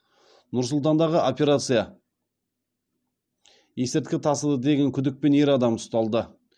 нұр сұлтандағы операция есірткі тасыды деген күдікпен ер адам ұсталды